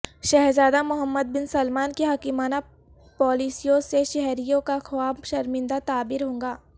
شہزادہ Mohammed bin Salman کی حکیمانہ پالیسیوں سے شہریوںکا خواب شرمندہ تعبیر ہوگا